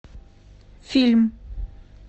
фильм